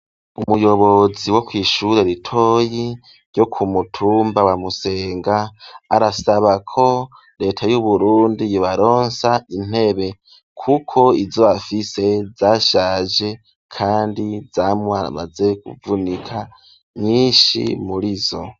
Umuyobozi wo kw'ishure iritoyi ryo ku mutumba wa Musenga arasabako leta y'Uburundi yobaronsa intebe kuko izo bafise zashaje kandi zamaze kuvunika nyinshi mur'izo.